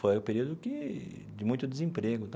Foi um período que de muito desemprego tal.